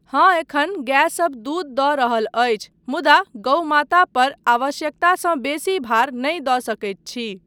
हाँ एखन गायसब दूध दऽ रहल अछि मुदा गउ माता पर आवश्यकतासँ बेसी भार नहि दऽ सकैत छी।